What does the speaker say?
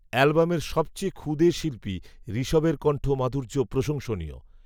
অ্যালবামের সবচেয়ে ক্ষুদে শিল্পী, ঋষভের কন্ঠ মাধুর্য প্রশংসনীয়